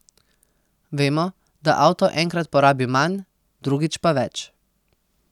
Vemo, da avto enkrat porabi manj, drugič pa več.